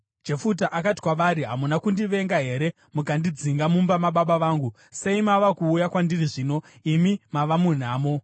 Jefuta akati kwavari, “Hamuna kundivenga here mukandidzinga mumba mababa vangu? Sei mava kuuya kwandiri zvino, imi mava munhamo?”